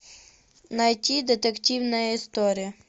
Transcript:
найти детективная история